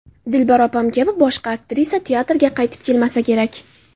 Dilbar opam kabi boshqa aktrisa teatrga qaytib kelmasa kerak.